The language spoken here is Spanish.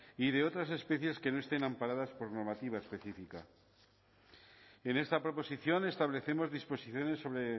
y de otras especies que no estén amparadas por normativa específica en esta proposición establecemos disposiciones sobre